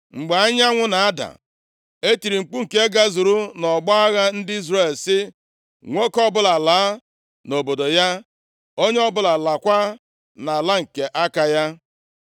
Mgbe anyanwụ na-ada, e tiri mkpu nke gazuru nʼọgbọ agha ndị Izrel, sị, “Nwoke ọbụla laa nʼobodo ya, onye ọbụla laakwa nʼala nke aka ya!”